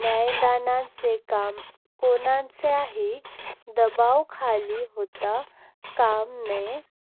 न्यायदानाचे काम कोणाच्याही दबावाखाली होता काम नये.